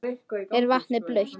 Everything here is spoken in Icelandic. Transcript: Er vatnið blautt?